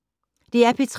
DR P3